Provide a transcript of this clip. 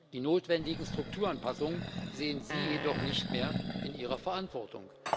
Die notwendigen Strukturanpassungen sehen Sie jedoch nicht mehr in Ihrer Verantwortung.